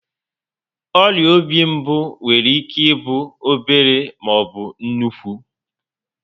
Ọrịa obi mbụ nwere ike ịbụ obere maọbụ nnukwu